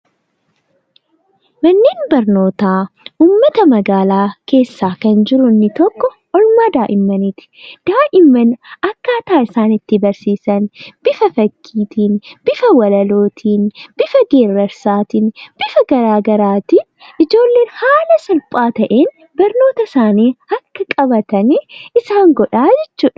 Manneen barnootaa uummata magaalaa keessa kan jiru inni tokko oolmaa daa'immaniiti. Daa'imman akkatti isaan barsiisan bifa fakkiitiin, bifa walalootiin, bifa geerarsaatiin ijoolleen salphaa ta'een barnoota isaanii akka qabatan isaan godhaa jechuudha.